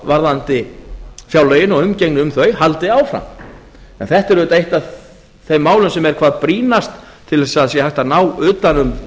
varðandi fjárlögin og umgengni um þau haldi áfram en þetta er auðvitað eitt af þeim málum sem er hvað brýnast til þess að það sé hægt að ná utan um og